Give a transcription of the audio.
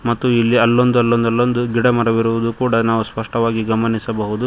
ಮತ್ತು ಇಲ್ಲಿ ಅಲ್ಲೊಂದ್ ಅಲ್ಲೊಂದ್ ಅಲ್ಲೊಂದ್ ಗಿಡ ಮರವಿರುದು ಕೂಡ ನಾವು ಸ್ಪಷ್ಟವಾಗಿ ಗಮನಿಸಬಹುದು.